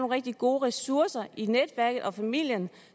rigtig gode ressourcer i netværket og familien